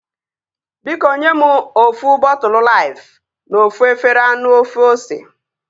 Biko nye mụ ofu bọtụlu Laifu na ofu efere anụ ofe ose